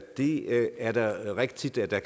det er da rigtigt at der